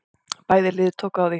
Bæði lið tóku á því.